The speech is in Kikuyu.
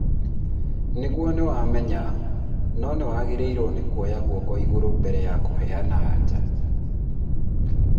nĩguo nĩwamenya, no nĩwagĩrĩirwo nĩ kuoya guoko igũrũ mbere ya kũheana anja